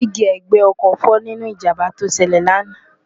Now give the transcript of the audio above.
dí́gí ẹ̀gbẹ́ ọkọ̀ fọ́ nínú ìjàmbá tó ṣẹlẹ̀ lánàá